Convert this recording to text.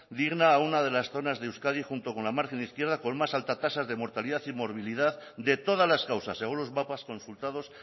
digna a una de las zonas de euskadi junto con la margen izquierda con más alta tasa de mortalidad y movilidad de todas las causas según los mapas consultados